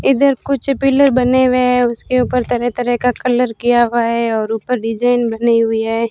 इधर कुछ पिलर बने हुए हैं उसके ऊपर तरह तरह का कलर किया हुआ है और ऊपर डिजाइन बनी हुई है।